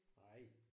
Nej